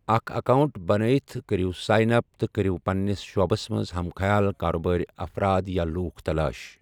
اکھ اکاؤنٹ بنایِتھ کٔرِو سائن اپ تہٕ کٔرِو پنِنِس شعبَس منٛز ہم خیال کاربٲری افراد یا لوٗکھ تلاش۔